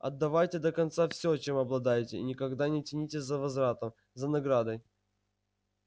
отдавайте до конца всё чём обладаете и никогда не тянитесь за возвратом за наградой